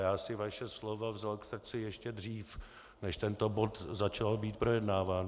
Já si vaše slova vzal k srdci ještě dřív, než tento bod začal být projednáván.